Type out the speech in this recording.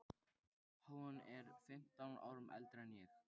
Hún er fimmtán árum eldri en ég.